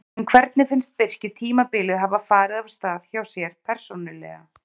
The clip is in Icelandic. En hvernig finnst Birki tímabilið hafa farið af stað hjá sér persónulega?